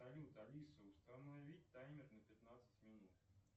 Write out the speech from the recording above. салют алиса установить таймер на пятнадцать минут